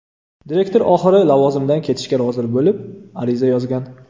Direktor oxiri lavozimidan ketishga rozi bo‘lib, ariza yozgan.